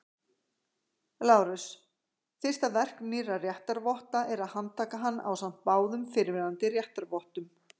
LÁRUS: Fyrsta verk nýrra réttarvotta er að handtaka hann ásamt báðum fyrrverandi réttarvottum.